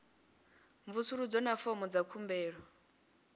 mvusuludzo na fomo dza khumbelo